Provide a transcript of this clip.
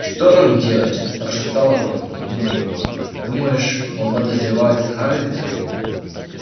что нам делать прошептал рон ему на ухо думаешь он подозревает хагрида